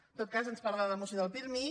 en tot cas ens parla a la moció del pirmi